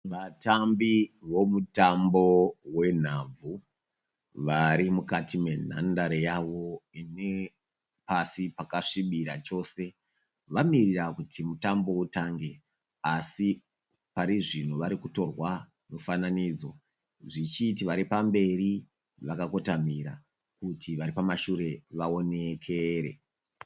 Vatambi vomutambo wenhabvu vari mukati menhandare yavo ine pasi pakasvibira chose. Vamirira kuti mutambo utange asi parizvino varikutorwa mufananidzo zvichiti vari pamberi vakakotamira kuti vari pamashure vaonekere.